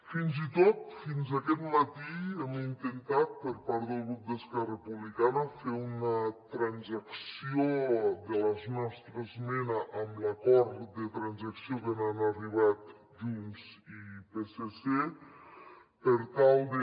fins i tot fins aquest matí hem intentat per part del grup d’esquerra republicana fer una transacció de la nostra esmena amb l’acord de transacció a que han arribat junts i psc per tal de